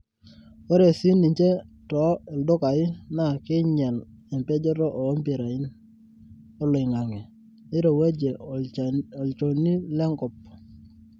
ore sii ninche too ildukai naa keinyal epejoto oo mpirain oloingange neirowuaje olchoni le nkop